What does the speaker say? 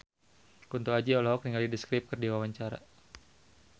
Kunto Aji olohok ningali The Script keur diwawancara